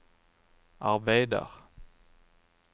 arbeider